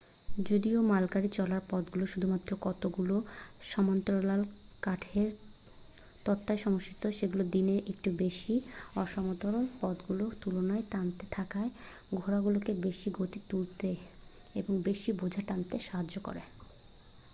যদিও মালগাড়ি চলার পথগুলো শুধুমাত্র কতগুলো সমান্তরাল কাঠের তক্তার সমষ্টি সেগুলো দিনের একটু বেশি অসমতল পথগুলোর তুলনায় টানতে থাকা ঘোড়াগুলোকে বেশি গতি তুলতে এবং বেশি বোঝা টানতে সাহায্য করে